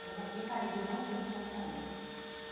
Ela já tinha caído e eu não vi quando ela caiu.